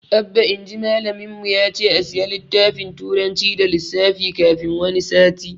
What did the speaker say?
Abba inji malamin mu yace a siya littafin turanci da lissafi kafin wani sati